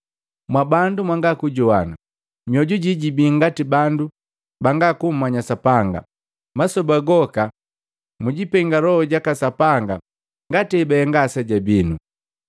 “Mwabandu mwanga kujowana! Mioju jii jibii ngati bandu banga kummanya Sapanga. Masoba goka mumpenga Loho jaka Sapanga ngati hebahenga aseja binu.